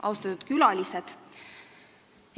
Austatud külalised!